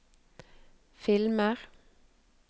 filmer